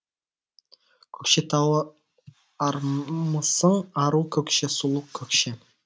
көкшетауы армысың ару көкше сұлу көкше